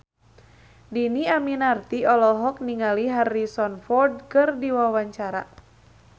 Dhini Aminarti olohok ningali Harrison Ford keur diwawancara